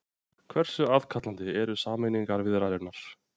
Hversu aðkallandi eru sameiningarviðræðurnar?